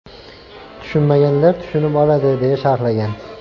Tushunmaganlar tushunib oladi” deya sharhlagan .